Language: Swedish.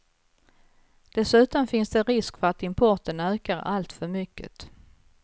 Dessutom finns det risk för att importen ökar alltför mycket.